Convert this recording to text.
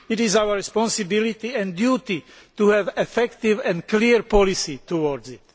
It is our responsibility and our duty to have an effective and clear policy towards it.